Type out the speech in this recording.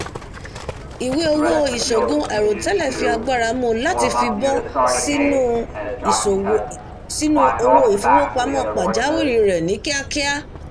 iwe-owó iṣoogun àìròtẹ́lẹ̀ fi agbára mú u láti fíbọ sínú owó ìfowópamọ́ pajàwìrí rẹ ní kíákíá